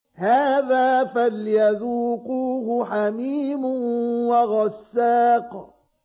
هَٰذَا فَلْيَذُوقُوهُ حَمِيمٌ وَغَسَّاقٌ